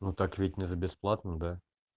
ну так ведь не за бесплатно да